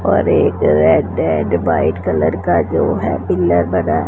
और एक red and white colour का जो है पिलर बना--